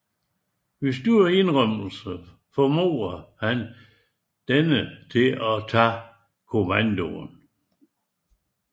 Ved store indrømmelser formår han denne til at tage kommandoen